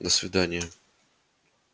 до свидания